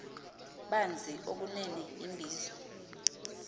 banzi okunene imbizo